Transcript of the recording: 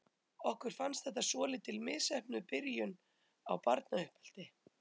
Okkur fannst þetta svolítið misheppnuð byrjun á barnauppeldi.